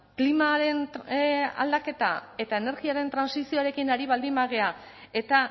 klimaren aldaketa eta energiaren trantsizioarekin ari baldin bagara eta